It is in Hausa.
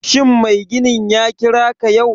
Shin mai ginin ya kira ka yau?